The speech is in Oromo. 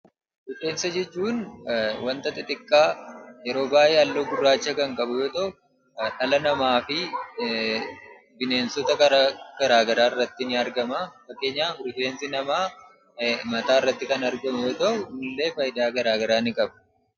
Rifeensa jechuun wanta xixiqqaa yeroo baay'ee halluu gurraacha kan qabu yoo ta'u dhala namaafii bineensota garaa garaagaraa irratti ni argamaa. Fakkeenyaaf rifeensi namaa mataa irratti kan argamu yoo ta'u innillee faayidaa garaa garaa ni qaba.